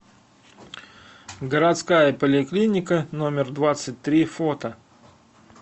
городская поликлиника номер двадцать три фото